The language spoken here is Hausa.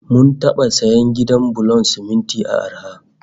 Mun taba sayan gidan bulon siminti a arha